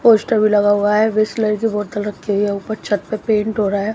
Poster भी लगा हुआ है बिसलेरी की बोतल रखी हुई है ऊपर छत पे पेंट हो रहा है।